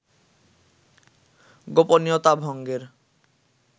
গোপনীয়তা ভঙ্গের